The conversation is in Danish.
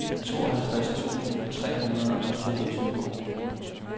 tooghalvtreds tusind tre hundrede og toogtyve